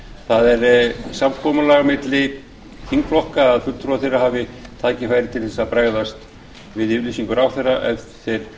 það er samkomulag milli þingflokka að fulltrúar þeirra hafi tækifæri til þess að bregðast við yfirlýsingu ráðherra ef